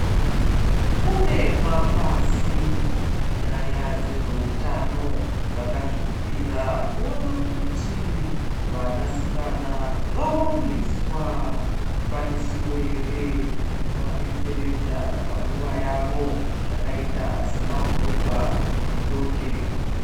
Kune mapazi munyaya dzezveutano vakazvipira kuona kuti vanasikana vawaniswa zvikwanisiro yere zvinovabetseredza panguva yavo zvakaita samabhurugwa nedonje .